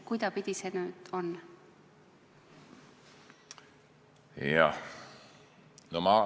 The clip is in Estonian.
Kuidaspidi see oli?